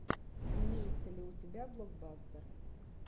имеется ли у тебя блокбастер